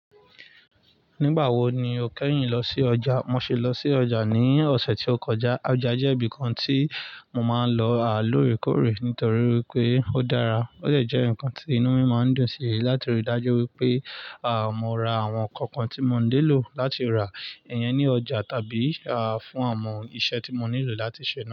Nígbà wo ni o kẹ́yìn lọ sí ọjà? Mo ṣe lọ sí ọjà ní ọ̀sẹ̀ tí ó kọjá. Ọjà jẹ́ ibi kan tí mo máa ń lọ à lòrekore nítorí wípé ó dára. Ó de jẹ́ ǹkan tí inú mi máa ń dùn sí láti rí dájú wípé à, mo ra àwọn ǹkan kan tí mo ńilò láti rà iyen ní ọjà tàbí à fún àwọn iṣẹ́ tí mo nílò láti ṣe.